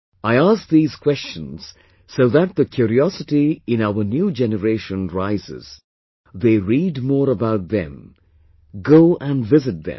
I asked these questions so that the curiosity in our new generation rises... they read more about them; go and visit them